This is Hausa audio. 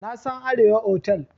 Na san Arewa otal.